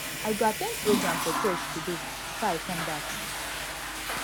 i go at ten d program for church today before i come back